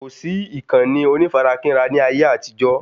Kò sí ìkànnì onífarakínra ní ayé àtijó